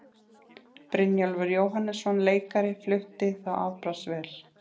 Brynjólfur Jóhannesson leikari flutti þá afbragðsvel.